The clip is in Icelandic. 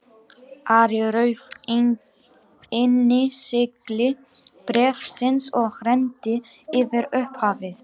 Ari rauf innsigli bréfsins og renndi yfir upphafið.